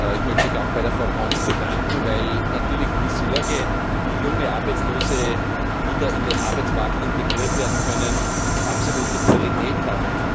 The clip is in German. Ich möchte mich auch bei Frau Göncz bedanken, weil natürlich die Sorge, wie junge Arbeitslose wieder in den Arbeitsmarkt integriert werden können, absolute Priorität hat.